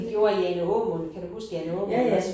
Det gjorde Jane Aamund kan du huske Jane Aamund? Også